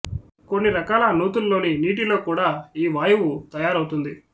కొన్ని రకాల నూతుల్లోని నీటిలో కూడా ఈ వాయువు తయారవుతుంది